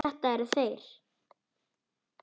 Það eru þeir.